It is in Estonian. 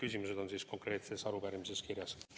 Kõik need küsimused on meie arupärimises kirjas.